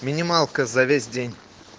минималка за весь день